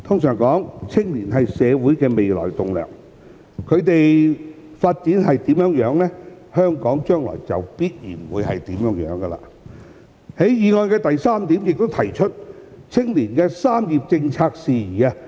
常言青年是社會未來的棟樑，他們的發展如何，香港的將來也必然如何，所以議案第三項亦提出青年"三業三政"的事宜。